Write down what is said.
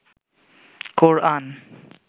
কোরআন